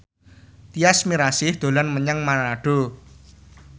Tyas Mirasih dolan menyang Manado